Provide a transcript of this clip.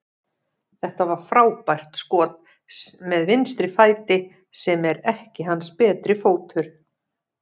Þetta var frábært skot með vinstri fæti, sem er ekki hans betri fótur.